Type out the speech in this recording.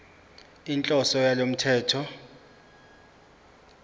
inhloso yalo mthetho